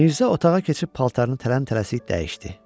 Mirzə otağa keçib paltarını tələm-tələsik dəyişdi.